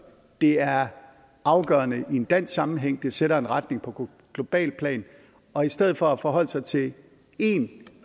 det er afgørende i en dansk sammenhæng det sætter en retning på globalt plan og i stedet for at forholde sig til én